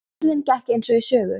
Heimferðin gekk eins og í sögu.